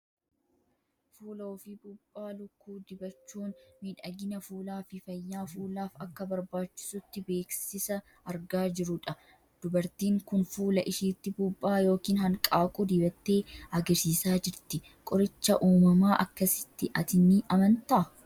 Fuula ofii puuphaa lukkuu dibachuun miidhagina fuulaa fi fayyaa fuulaaf akka barbaachisutti beeksisa argaa jirrudha. Dubartiin kun fuula ishiitti puuphaa yookiin hanqaaquu dibattee agarsiisaa jirti. Qoricha uumamaa akkasiitti ati ni amantaa?